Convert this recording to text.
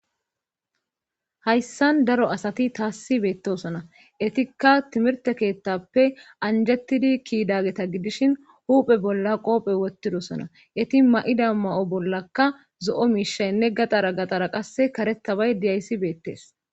hayssan daro asati taassi beettosona etikka timirte keettappe anjettidi ki'idageta gidishin huuphe bolla qoophe wottidosona eti ma7ida ma7o bollaka zo7o miishaynne gaxara gaxxara qasse karetabay diyayssi beettees